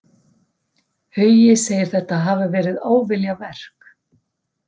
Hugi segir þetta hafa verið óviljaverk.